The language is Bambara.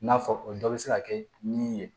N'a fɔ o dɔ bɛ se ka kɛ min ye